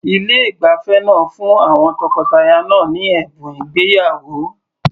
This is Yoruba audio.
Ilé ìgbafẹ́ náà fún àwọn tọkọtaya náà ní ẹ̀bùn ìgbéyàwó.